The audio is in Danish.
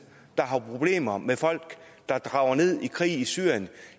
der har problemer med folk der drager ned i krig i syrien